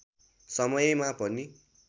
समयमा पनि